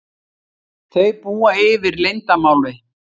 Þau búa yfir leyndarmáli.